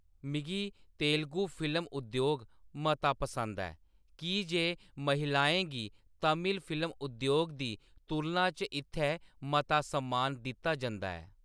मिगी तेलुगू फिल्म उद्योग मता पसंद ऐ की जे महिलाएं गी तमिल फिल्म उद्योग दी तुलना च इत्थै मता सम्मान दित्ता जंदा ऐ।